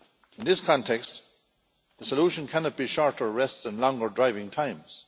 In this context, the solution cannot be shorter rests and longer driving times.